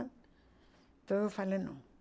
Então eu falei, não.